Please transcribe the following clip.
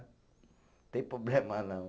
Tem problema não.